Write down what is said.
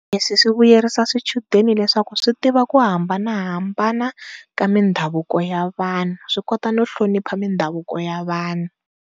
Leswi swi vuyerisa swichudeni leswaku swi tiva ku hambanahambana ka mindhavuko ya vanhu swi kota no hlonipha mindhavuko ya vanhu.